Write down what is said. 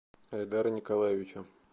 айдара николаевича